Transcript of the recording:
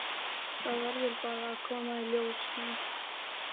Það verður bara að koma í ljós, ha?